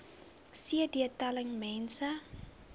cd telling mense